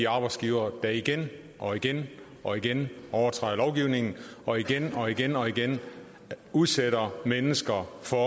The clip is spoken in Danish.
arbejdsgivere der igen og igen og igen overtræder lovgivningen og igen og igen og igen udsætter mennesker for